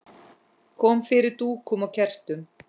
Kom fyrir dúkum og kertum.